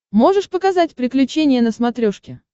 можешь показать приключения на смотрешке